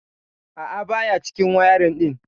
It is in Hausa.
A'a baya cikin wayarin din.